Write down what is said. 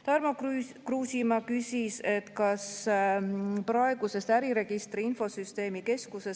Tarmo Kruusimäe küsis praeguse äriregistri infosüsteemikeskuse